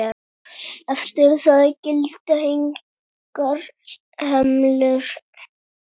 Eftir það gilda engar hömlur.